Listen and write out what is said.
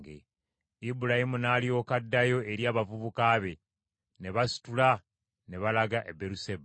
Ibulayimu n’alyoka addayo eri abavubuka be, ne basitula ne balaga e Beeruseba.